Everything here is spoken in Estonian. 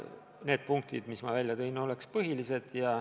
Need punktid, mis ma välja tõin, oleks põhilised.